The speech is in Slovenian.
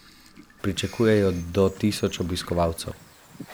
Pričakujejo do tisoč obiskovalcev.